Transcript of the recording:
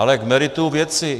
Ale k meritu věci.